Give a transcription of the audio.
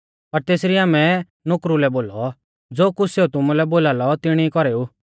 पर तेसरी आमै नुकरु लै बोलौ ज़ो कुछ़ सेऊ तुमुलै बोलालौ तिणी कौरेऊ